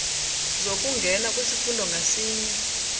zokungena kwisifundo ngasinye